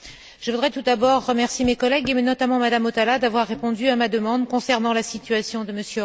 Je voudrais tout d'abord remercier mes collègues, et notamment Mme Hautala, d'avoir répondu à ma demande concernant la situation de M.